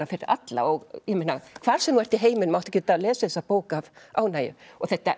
fyrir alla hvar sem þú ert í heiminum áttu að geta lesið þessa bók af ánægju og þetta